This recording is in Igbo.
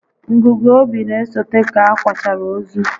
Ngụgụ obi n'esote ka a kwachara ozu